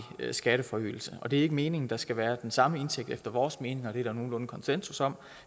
skatteforøgelse og det er ikke meningen at der skal være den samme indtægt efter vores mening og det er der nogenlunde konsensus om